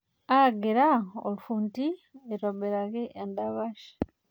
Aagira olfundi aitobiraki endapash.